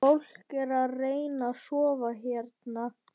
Fólk er að reyna að sofa hérna